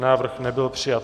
Návrh nebyl přijat.